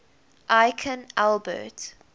aikin albert